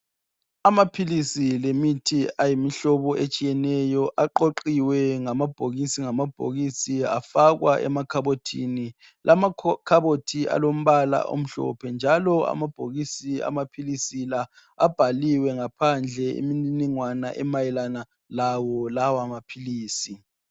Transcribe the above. Amaphilisi lemithi ayimihlobo etshiyeneyo aqoqiwe ngamabhokisi ngamabhokisi afakwa emakhabothini. Lamakhabothi alombala omhlophe njalo amabhokisi amaphilisi la abhaliwe ngaphandle imininingwana emayelana lawo lawamaphilisi.